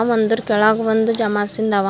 ಒಂದ್ರು ಕೆಳಗ್ ಒಂದು ಜಮಾಸಿಂದ ಅವ.